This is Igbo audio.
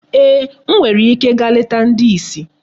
Eeh, m nwere ike gaa leta ndị isi